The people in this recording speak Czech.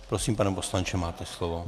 Prosím, pane poslanče, máte slovo.